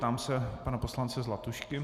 Ptám se pana poslance Zlatušky.